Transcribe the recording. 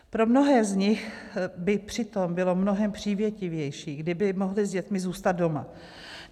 Pro mnohé z nich by přitom bylo mnohem přívětivější, kdyby mohli s dětmi zůstat doma.